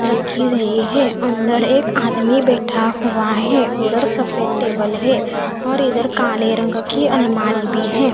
रखी गयी है अंदर एक आदमी बैठा हुआ है दो सफ़ेद टेबल है और इधर काले रंग की अलमारी भी है।